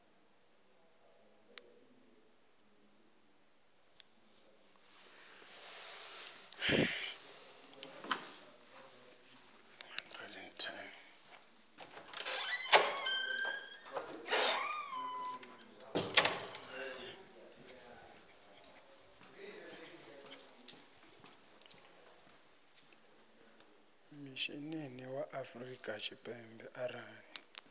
mishinini wa afrika tshipembe arali